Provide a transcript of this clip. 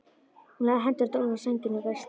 Hún lagði hendurnar ofan á sængina og dæsti.